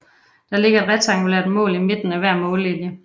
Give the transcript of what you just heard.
Der ligger et rektangulært mål i midten af hver mållinje